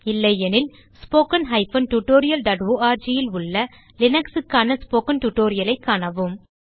இல்லையெனில் spoken tutorialஆர்க் ல் உள்ள லினக்ஸ் க்கான ஸ்போக்கன் tutorialஐ காணவும்